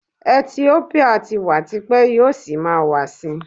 Etiópíà ti wà ti pẹ́, yóò sì máa wà sí.